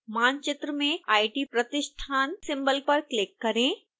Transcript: मानचित्र में it प्रतिष्ठान सिंबल पर क्लिक करें